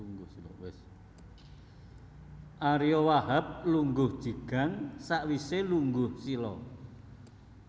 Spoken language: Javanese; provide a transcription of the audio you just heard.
Ariyo Wahab lungguh jigang sakwise lungguh sila